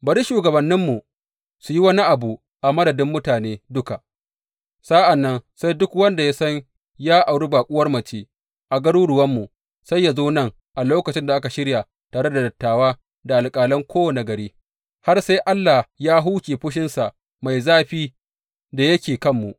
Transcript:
Bari shugabanninmu su yi wani abu a madadin mutane duka, sa’an nan sai duk wanda ya san ya auri baƙuwar mace a garuruwanmu, sai yă zo nan a lokacin da aka shirya tare da dattawa da alƙalan kowane gari, har sai Allah ya huce fushinsa mai zafi da yake kanmu.